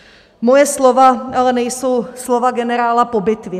Moje slova ale nejsou slova generála po bitvě.